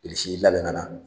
Bilisi y'i labɛn ka na.